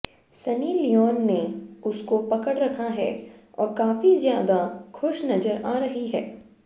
Sunny Leone ने उसको पकड़ रखा है और काफी ज्यादा खुश नजर आ रही है